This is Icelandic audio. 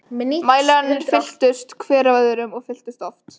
Mælarnir fylltust, hver af öðrum- og fylltust oft.